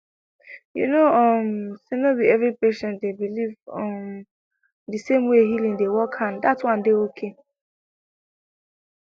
you know um say no be every patient dey believe um the same way healing dey workand that one dey okay